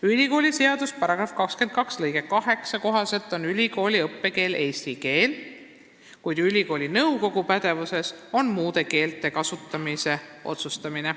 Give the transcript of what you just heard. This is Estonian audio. Ülikooliseaduse § 22 lõike 8 kohaselt on ülikooli õppekeel eesti keel, kuid ülikooli nõukogu pädevuses on muude keelte kasutamise otsustamine.